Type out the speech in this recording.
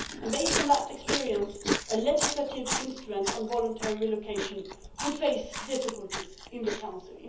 Based on that experience, a legislative instrument on voluntary relocation would face difficulties in the Council.